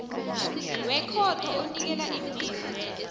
wekhotho onikela imvumo